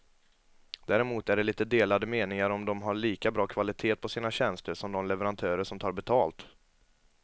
Däremot är det lite delade meningar om de har lika bra kvalitet på sina tjänster som de leverantörer som tar betalt.